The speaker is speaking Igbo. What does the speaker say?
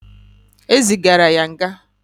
E zigara ya nga.